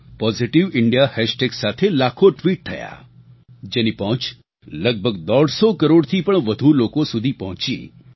positive India hashtag સાથે લાખો tweet થયા જેની પહોંચ લગભગ દોઢસો કરોડથી પણ વધુ લોકો સુધી પહોંચી